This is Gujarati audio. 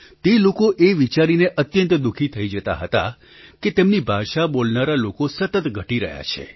તે લોકો એ વિચારીને અત્યંત દુઃખી થઈ જતાં કે તેમની ભાષા બોલનારા લોકો સતત ઘટી રહ્યા છે